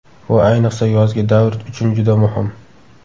Bu ayniqsa yozgi davr uchun juda muhim.